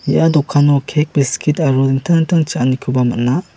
ia dokano kek biskit aro dingtang dingtang cha·anikoba man·a.